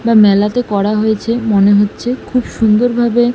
বা মেলাতে করা হয়েছে মনে হচ্ছে খুব সুন্দর ভাবে--